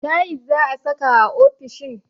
Tayis za'a saka a ofishin